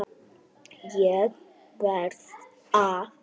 ÉG VERÐ AÐ